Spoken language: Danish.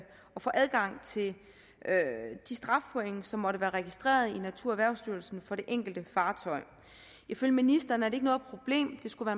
få adgang til de strafpoint som måtte være registreret i naturerhvervsstyrelsen for det enkelte fartøj ifølge ministeren er det ikke noget problem der skulle